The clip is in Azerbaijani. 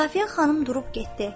Safiyə xanım durub getdi.